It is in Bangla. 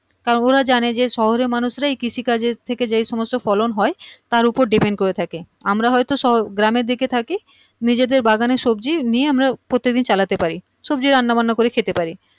তাও ওরা জানে যে শহরের মানুষ রাই কৃষি কাজের থেকে যে সমস্ত ফলন হয় তার ওপরেই depend করে থাকে আমরা হয় তো শো গ্রামের দিকে থাকি নিজেদের বাগানের সবজি নিয়ে আমরা প্রতি দিন চালাতে পারি সবজি রান্না বান্না করে খেতে পারি